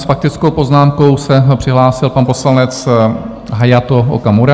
S faktickou poznámkou se přihlásil pan poslanec Hayato Okamura.